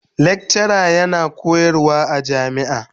lekcara yana koyarwa a jami'a.